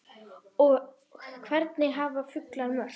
og Hvernig hafa fuglar mök?